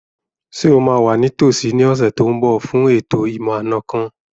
Ṣé o máa wà ní tòsí ní ọ̀sẹ̀ tó n bọ̀ fún ètò ìmọ̀-àna kan